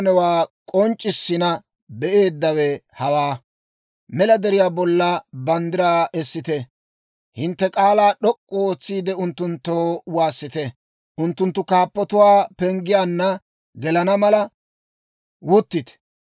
Mela deriyaa bolla banddiraa essite; hintte k'aalaa d'ok'k'u ootsiide, unttunttoo waassite; unttunttu kaappatuwaa penggiyaanna gelana mala, wuttite.